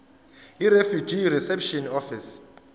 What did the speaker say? yirefugee reception office